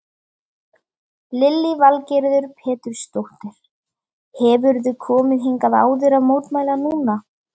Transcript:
Lillý Valgerður Pétursdóttir: Hefurðu komið hingað áður að mótmæla núna?